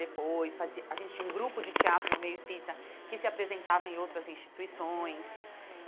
Depois, fazia a gente tinha um grupo de teatro no meio espírita que se apresentava em outras instituições.